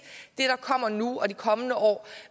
det der kommer nu og i de kommende år